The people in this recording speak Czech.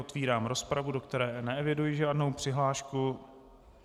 Otevírám rozpravu, do které neeviduji žádnou přihlášku.